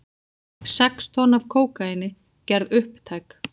Sex tonn af kókaíni gerð upptæk